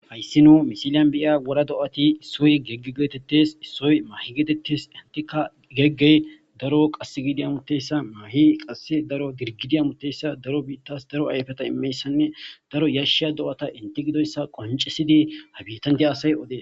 Hayssi nuu misiliyan biyya wora do'ati issoy gegge geetettes issoy mahi geetettis intika geggey daro qass gidi amuteyssa maahi qasse daro dirgidi amuteyssa daro biittas daro ayafeta imeyssanne daro yashsha do'ata inte gidoyssa qoncesidi ha biitanti asay odee